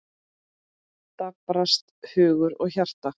Daprast hugur og hjarta.